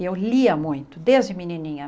Eu lia muito, desde menininha.